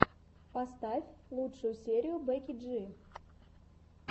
поставь лучшую серию бекки джи